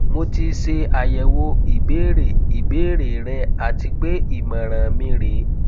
mo ti se ayewo ibere ibere re ati pe imoran mi re